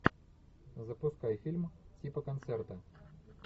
запускай фильм типа концерта